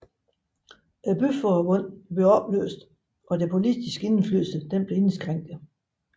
Byforbundene blev opløst og deres politiske indflydelse blev indskrænket